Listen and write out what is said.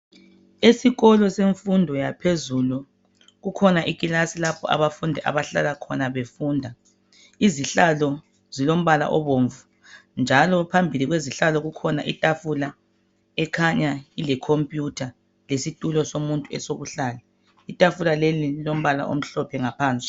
Esikolo semfundo yaphezulu, kukhona ikilasi lapho abafundi abahlala khona befunda. Izihlalo ezilombala obomvu, njalo phambili kwezihlalo kukhona itafula ekhanya ile khompuyutha lesitulo somuntu esokuhlala. Intafula leli lilombala omhlophe ngaphansi.